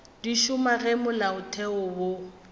di šoma ge molaotheo wo